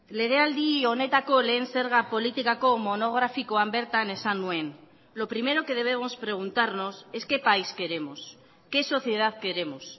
legealdi honetako lehen zerga politikako monografikoan bertan esan nuen lo primero que debemos preguntarnos es qué país queremos qué sociedad queremos